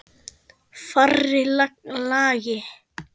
Fjarri lagi.